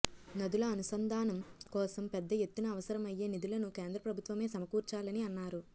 నదుల అనుసంధానం కోసం పెద్ద ఎత్తున అవసరమయ్యే నిధులను కేంద్ర ప్రభుత్వమే సమకూర్చాలని అన్నారు